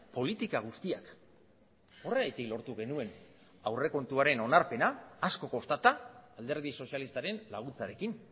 politika guztiak horregatik lortu genuen aurrekontuaren onarpena asko kostata alderdi sozialistaren laguntzarekin